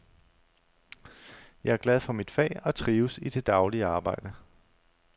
Jeg er glad for mit fag og trives i det daglige arbejde.